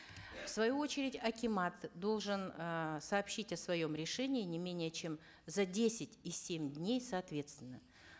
в свою очередь акимат должен э сообщить о своем решении не менее чем за десять и семь дней соответственно